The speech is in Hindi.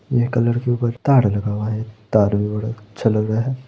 यह कलर के ऊपर तार लगा हुआ है तार भी बड़ा अच्छा लगा रहा है।